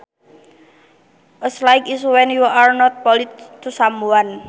A slight is when you are not polite to someone